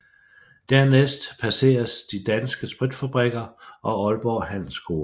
Dernæst passeres De Danske Spritfabrikker og Aalborg Handelsskole